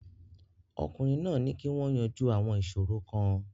Ọkùnrin náà ní kí wọ́n yanjú àwọn ìṣòro kan.